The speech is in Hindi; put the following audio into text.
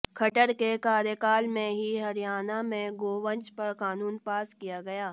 खट्टर के कार्यकाल में ही हरियाणा में गोवंश पर कानून पास किया गया